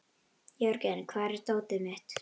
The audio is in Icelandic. Jörgen, hvar er dótið mitt?